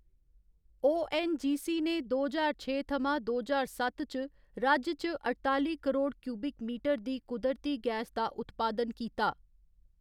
ONGC. ने दो ज्हार छे थमां दो ज्हार सत्त च राज्य च अठताली करोड़ क्यूबिक मीटर दी कुदरती गैस दा उत्पादन कीता।